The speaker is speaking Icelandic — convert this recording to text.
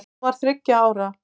Hún var þriggja ára.